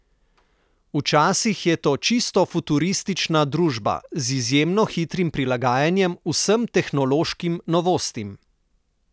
Včasih je to čisto futuristična družba, z izjemno hitrim prilagajanjem vsem tehnološkim novostim.